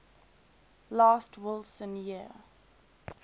last wilson year